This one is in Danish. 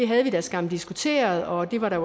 havde man skam diskuteret og det var der